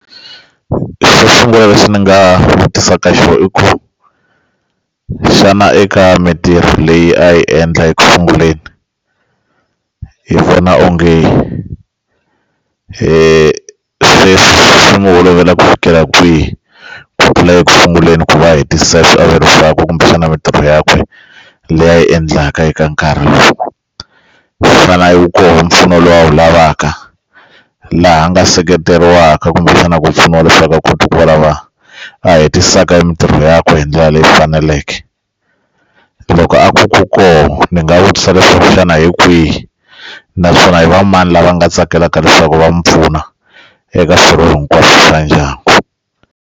Xo sungula lexi ni nga vutisaka xona i ku xana eka mintirho leyi a yi endla ekusunguleni hi vona onge se swi va olovela ku fikela kwihi ku fikela ekusunguleni kumbexana mintirho yakwe leyi a yi endlaka eka nkarhi lowu faneleke ku kuma mpfuno lowu a wu lavaka laha a nga seketeriwaka kumbexana ku pfuniwa leswaku a kota ku va lava a hetiseka hi mintirho ya ku hi ndlela leyi faneleke loko a ku kona ni nga vutisa leswaku xana hi kwihi naswona i va mani lava nga tsakelaka leswaku va n'wi pfuna eka swirho hinkwaswo xa ndyangu.